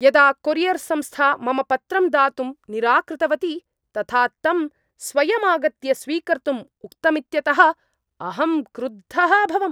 यदा कोरियर् संस्था मम पत्रं दातुं निराकृतवती तथा तं स्वयमागत्य स्वीकर्तुं उक्तमित्यतः अहं क्रुद्धः अभवम्।